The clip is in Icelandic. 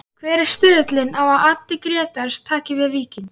Hver er stuðullinn á að Addi Grétars taki við Víkingi?